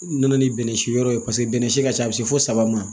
Nana ni bɛnnɛsi wɛrɛ ye paseke bɛnnɛ si ka ca a bi se fo saba ma